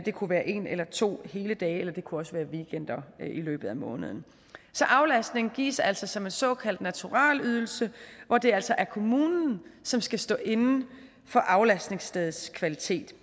kunne være en eller to hele dage eller det kunne også være weekender i løbet af måneden så aflastning gives altså som en såkaldt naturalydelse hvor det altså er kommunen som skal stå inde for aflastningsstedets kvalitet